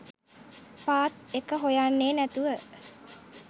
පාත් එක හොයන්නේ නැතුව